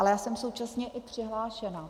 Ale já jsem současně i přihlášená.